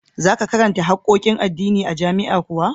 Za ka karanta harkokin addini a jami'a kuwa?